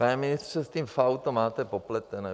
Pane ministře, s tím FAÚ to máte popletené.